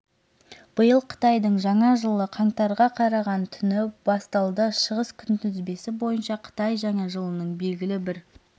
биыл қытайдың жаңа жылы қаңтарға қараған түні басталды шығыс күнтізбесі бойынша қытай жаңа жылының белгілі бір